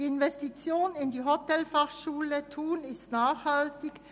Die Investition in die Hotelfachschule Thun ist nachhaltig.